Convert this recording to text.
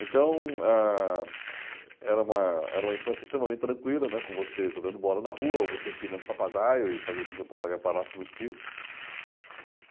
Então, ah era uma era uma infância extremamente tranquila, né, com você jogando bola na rua ou você empinando o papagaio e fazendo com que o papagaio parasse nos fios.